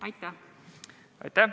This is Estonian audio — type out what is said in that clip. Aitäh!